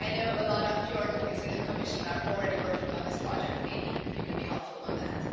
I know a lot of your colleagues in the Commission are already working on this project, maybe you could be helpful on that?